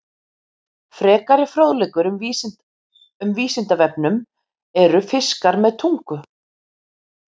Frekari fróðleikur um Vísindavefnum: Eru fiskar með tungu?